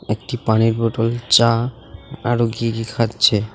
একটি পানির বোটোল চা আরো কি কি খাচ্ছে.